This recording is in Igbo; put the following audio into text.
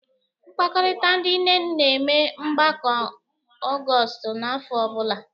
Mkpakọrịta ndị nne na-eme mgbakọ Ọgọstụ n'afọ ọbụla.